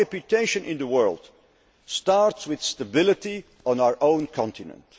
Our reputation in the world starts with stability on our own continent.